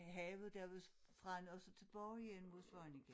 Havet der ved Frenne og så tilbage igen mod Svaneke